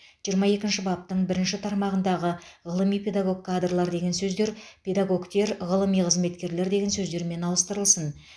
жиырма екінші баптың бірінші тармағындағы ғылыми педагог кадрлар деген сөздер педагогтер ғылыми қызметкерлер деген сөздермен ауыстырылсын